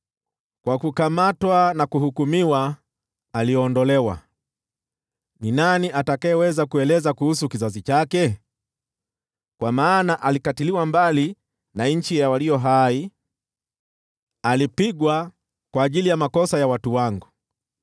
Kwa kuonewa na kuhukumiwa aliondolewa. Nani awezaye kueleza kuhusu kizazi chake? Kwa maana alikatiliwa mbali na nchi ya walio hai, alipigwa kwa ajili ya makosa ya watu wangu.